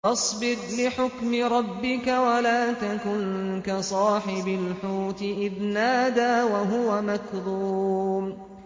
فَاصْبِرْ لِحُكْمِ رَبِّكَ وَلَا تَكُن كَصَاحِبِ الْحُوتِ إِذْ نَادَىٰ وَهُوَ مَكْظُومٌ